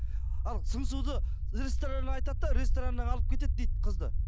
ал сыңсуды ресторанда айтады да рестораннан алып кетеді дейді қызды